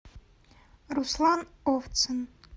руслан овцын